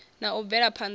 na u bvela phana ha